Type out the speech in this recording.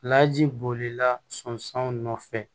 Laji bolila sɔn sanw nɔfɛ